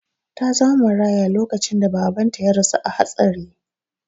Ta zama maraya lokacin da babanta ya rasu a hatsari.